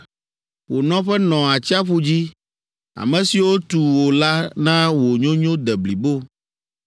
Wò nɔƒe nɔ atsiaƒu dzi, ame siwo tu wò la na wò nyonyo de blibo.